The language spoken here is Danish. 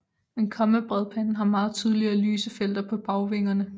Men kommabredpanden har meget tydeligere lyse felter på bagvingerne